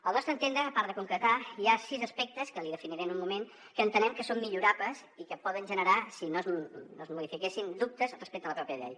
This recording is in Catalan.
al nostre entendre a part de concretar hi ha sis aspectes que li definiré un moment que entenem que són millorables i que poden generar si no es modifiquessin dubtes respecte a la pròpia llei